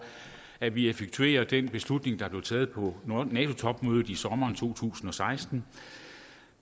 at vi effektuerer den beslutning der blev taget på nato topmødet i sommeren to tusind og seksten